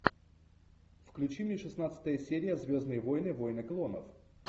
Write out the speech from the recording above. включи мне шестнадцатая серия звездные войны войны клонов